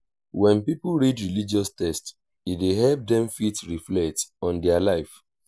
when pipo read religious text e dey help dem fit reflect on their life